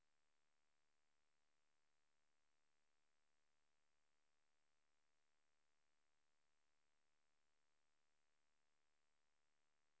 Blåbærturen ute på landet var en rein fornøyelse og flere av turgåerene hadde kilosvis med bær.